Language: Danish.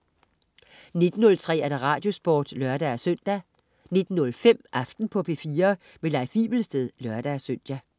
19.03 Radiosporten (lør-søn) 19.05 Aften på P4. Leif Wivelsted (lør-søn)